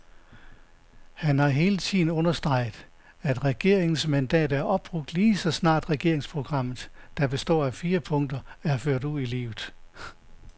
Han har hele tiden understreget, at regeringens mandat er opbrugt lige så snart regeringsprogrammet, der består af fire punkter, er ført ud i livet.